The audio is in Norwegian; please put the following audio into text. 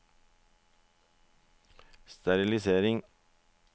sterilisering